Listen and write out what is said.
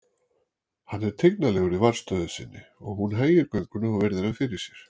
Hann er tignarlegur í varðstöðu sinni og hún hægir gönguna og virðir hann fyrir sér.